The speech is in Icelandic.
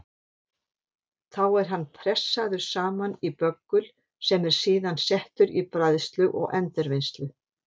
Þá er hann pressaður saman í böggul sem er síðan settur í bræðslu og endurvinnslu.